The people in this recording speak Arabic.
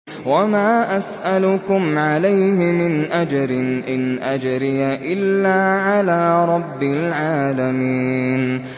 وَمَا أَسْأَلُكُمْ عَلَيْهِ مِنْ أَجْرٍ ۖ إِنْ أَجْرِيَ إِلَّا عَلَىٰ رَبِّ الْعَالَمِينَ